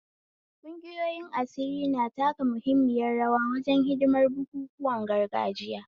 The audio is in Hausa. Ƙungiyoyin asiri na taka muhimmiyar rawa wajen hidimar bukukuwan gargajiya.